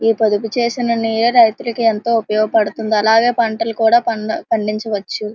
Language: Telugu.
ఈ పొదుపు చేసిన నీరే రైతులకి ఎంతో ఉపయోగపడుతుంది అలాగే పంటలు కూడా పండ-పండించవచ్చు.